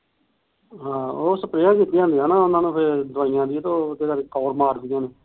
ਹਾ ਉਹ ਸਪਰੇਹ ਕੀਤੀਆਂ ਹੁੰਦੀਆਂ ਨਾ ਦਵਾਈਆਂ ਦੀ ਫਿਰ ਉਹਦੇ ਕਰਕੇ